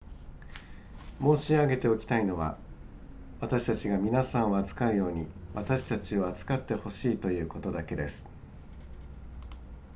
申し上げておきたいのは私たちが皆さんを扱うように私たちを扱って欲しいということだけです